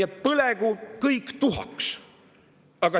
Ja põlegu kõik tuhaks!